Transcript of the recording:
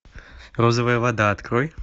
розовая вода открой